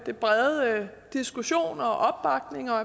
den brede diskussion og opbakning og